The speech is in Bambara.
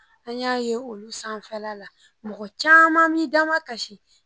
An y'a ye olu sanfɛla la mɔgɔ caman b'i damakasi